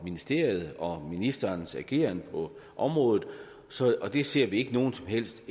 ministeriet og ministerens ageren på området og det ser vi ikke noget som helst